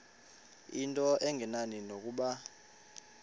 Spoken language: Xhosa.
into engenani nokuba